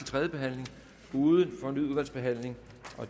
tredje behandling uden fornyet udvalgsbehandling